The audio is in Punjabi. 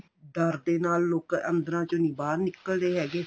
ਡਰ ਦੇ ਨਾਲ ਲੋਕਾ ਆਂਦਰਾ ਚ ਨੀਂ ਬਾਹਰ ਨਿਕਲ ਦੇ ਹੈਗੇ